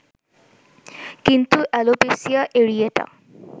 কিন্তু alopecia areata